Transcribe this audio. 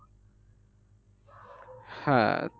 হ্যাঁ